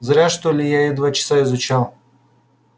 зря что ли я её два часа изучал